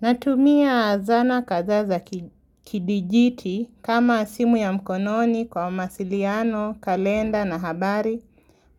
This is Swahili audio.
Natumia zana kadhaa za kidijiti kama simu ya mkononi kwa masiliano, kalenda na habari,